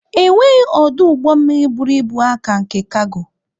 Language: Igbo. Enweghị ọdụ ụgbọ mmiri buru ibu aa ka nke kago.